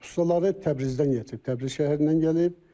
Ustasları Təbrizdən gətirilib, Təbriz şəhərindən gəlib.